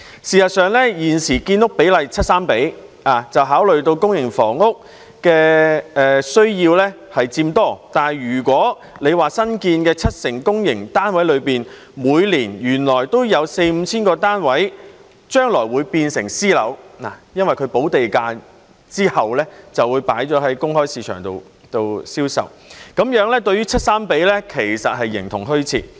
事實上，現時的建屋比例為 7：3， 是考慮到公營房屋的需要佔多，但如果新建的七成公營單位中，原來每年都有四五千個單位將來會變成私樓，因為補地價之後便會在公開市場上銷售，這樣 7：3 的比例其實是形同虛設。